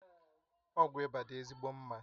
Ọgwụ ịba dị ezigbo mma